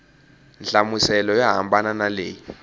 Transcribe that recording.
nhlamuselo yo hambana na leyi